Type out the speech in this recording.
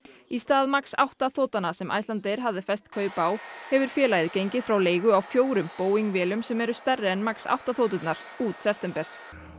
í stað MAX átta sem Icelandair hafði fest kaup á hefur félagið gengið frá leigu á fjórum Boeing vélum sem eru stærri en MAX átta þoturnar út september